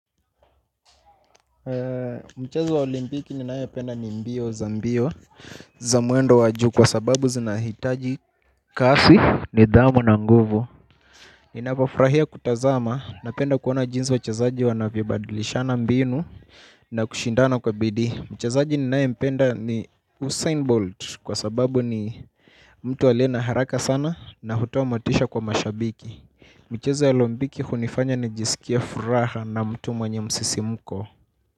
Mchezo wa olimpiki ninaye penda ni mbio za mbio za mwendo wa juu kwa sababu zinahitaji kasi, nidhamu na nguvu. Ninavyofurahia kutazama na penda kuona jinsi wachezaji wanavyobadlishana mbinu na kushindana kwa bidii. Mchezaji ninaye mpenda ni Usain Bolt kwa sababu ni mtu aliye na haraka sana na hutua motisha kwa mashabiki. Michezo ya olimpiki hunifanya nijisikie furaha na mtu mwenye msisimuko.